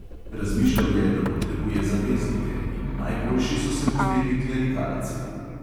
Razmišljal je, da potrebuje zaveznike, in najboljši so se mu zdeli klerikalci.